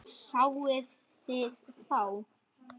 Sáuð þið þá?